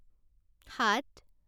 সাত